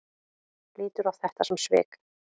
Lítur á þetta sem svik?